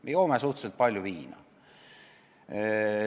Me joome suhteliselt palju viina.